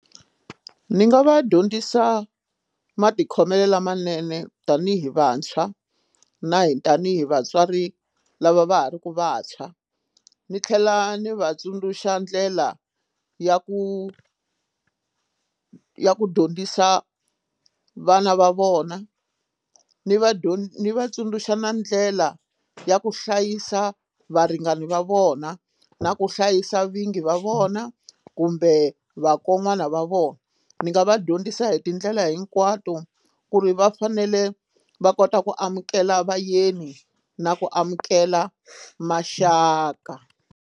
Ni nga va dyondzisa matikhomelo lamanene tanihi vantshwa na hi tanihi vatswari lava va ha ri ku vantshwa ni tlhela ni va tsundzuxa ndlela ya ku ya ku dyondzisa vana va vona ni Ni vatsundzuxa na ndlela ya ku hlayisa varingani va vona na ku hlayisa vingi va vona kumbe vakon'wana va vona ni nga va dyondzisa hi tindlela hinkwato ku ri va fanele va kota ku amukela vayeni na ku amukela maxaka.